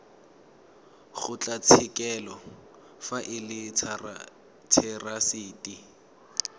kgotlatshekelo fa e le therasete